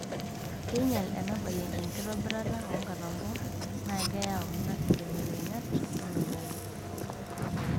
Keinyal enabaye enkitobirata oonkatampo naa keyau ina nkibelekenyat oloing'ang'e.